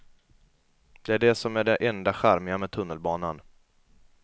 Det är det som är det enda charmiga med tunnelbanan.